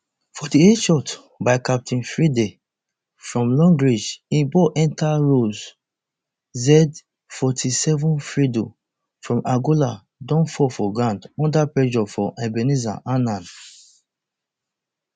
forty-eightshot by captain freddy from long range im ball enta row z forty-sevenfreddy from angola don fall for ground under pressure from ebenezer annan